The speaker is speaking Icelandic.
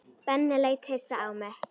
Benni leit hissa á mig.